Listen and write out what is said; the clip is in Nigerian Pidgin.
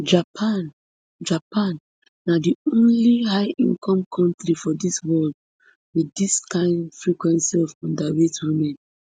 japan japan na di only highincome kontri for world wit dis can frequency of underweight women